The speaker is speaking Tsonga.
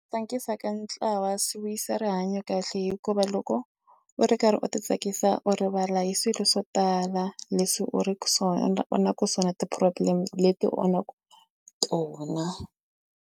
Tsakisa ka ntlawa swi vuyisa rihanyo kahle hikuva loko u ri karhi u titsakisa u rivala hi swilo swo tala leswi u ri ku so na u na ku so na ti-problem leti onhaka tona.